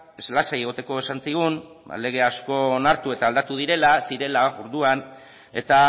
lasai egoteko esan zigun lege asko onartu eta aldatu zirela orduan eta